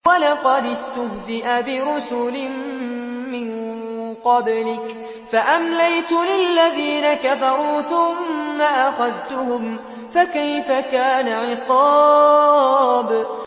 وَلَقَدِ اسْتُهْزِئَ بِرُسُلٍ مِّن قَبْلِكَ فَأَمْلَيْتُ لِلَّذِينَ كَفَرُوا ثُمَّ أَخَذْتُهُمْ ۖ فَكَيْفَ كَانَ عِقَابِ